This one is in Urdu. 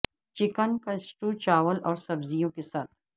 چکن کا سٹو چاول اور سبزیوں کے ساتھ